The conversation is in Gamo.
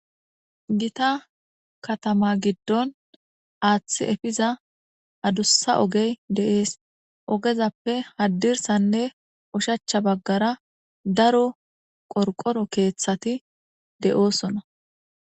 Gita katama giddon aaththi efiza adussa ogey deees ogezappe haddirsanne ushachcha baggara daro qorqoro keeththati de7oosona.